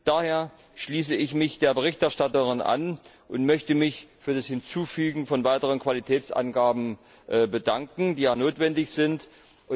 Daher schließe ich mich der Berichterstatterin an und möchte mich für das Hinzufügen von weiteren Qualitätsangaben, die ja notwendig sind, bedanken.